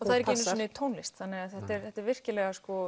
það er ekki sinu sinni tónlist þannig að þetta er þetta er virkilega